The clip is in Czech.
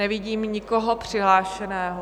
Nevidím nikoho přihlášeného.